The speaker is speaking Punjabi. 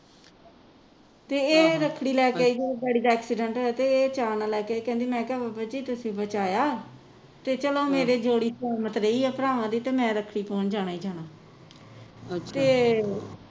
ਤੇ ਇਹ ਰੱਖੜੀ ਲੈ ਕੇ ਤੇ ਜਦੋਂ ਡੈਡੀ ਦਾ ਐਕਸੀਡੈਂਟ ਹੋਇਆ ਤੇ ਇਹ ਚਾਅ ਨਾਲ ਲੈਕੇ ਆਈ ਕਹਿੰਦੀ ਮੈਂ ਕਿਹਾ ਬਾਬਾਜੀ ਤੁਸੀਂ ਬਚਾਇਆ ਤੇ ਚਲੋ ਮੇਰੀ ਜੋੜੀ ਸਲਾਮਤ ਰਹੀ ਆ ਭਰਾਵਾਂ ਦੀ ਤੇ ਮੈਂ ਰੱਖੜੀ ਪਾਉਣ ਜਾਣਾ ਹੀ ਜਾਣਾ ਤੇ